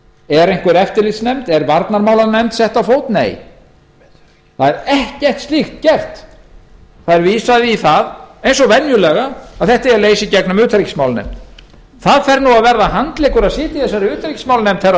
er einhver eftirlitsnefnd er varnarmálanefnd sett á fót nei ekkert slíkt er gert vísað er í það eins og venjulega að þetta eigi að leysa í gegnum utanríkismálanefnd það fer nú að verða handleggur að sitja í utanríkismálanefnd herra